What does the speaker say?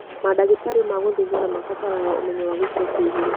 Mandagĩtarĩ ma gũthĩnjana mabataraga ũmenyo wa gĩkĩro kĩa igũrũ